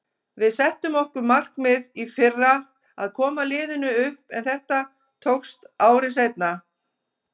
Við settum okkur markmið í fyrra að koma liðinu upp en þetta tókst ári seinna.